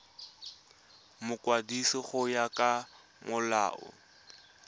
mokwadisi go ya ka molao